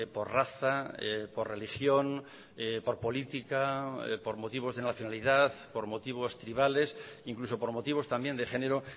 por raza por religión por política por motivos de nacionalidad por motivos tribales incluso por motivos también de género